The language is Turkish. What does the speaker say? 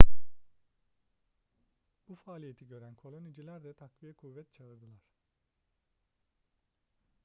bu faaliyeti gören koloniciler de takviye kuvvet çağırdılar